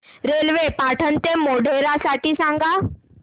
railway Patan ते मोढेरा साठी सांगा